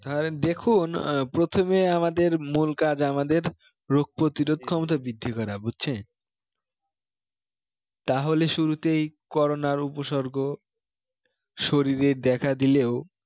আহ দেখুন আহ প্রথমে আমাদের মূল কাজ আমাদের রোগ প্রতিরোধ ক্ষমতা বৃদ্ধি করা বুঝছে তাহলে শুরুতেই corona র উপসর্গ শরীরে দেখা দিলেও